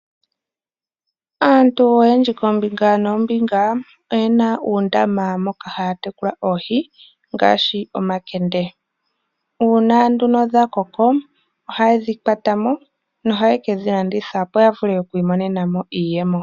Aantu oyendji koombinga noombinga oyena uundama moka haa tekula oohi ngaashi omakende. Uuna nduno dha koko ohaye dhi kwata mo nohaye ke dhi landitha opo ya vule okwimonena mo iiyemo.